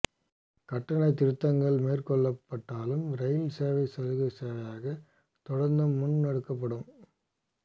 கட்டண திருத்தங்கள் மேற்கொள்ளப்பட்டாலும் ரயில் சேவை சலுகை சேவையாக தொடர்ந்தும் முன்னெடுக்கப்படும்